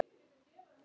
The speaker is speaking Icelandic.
Jensína, áttu tyggjó?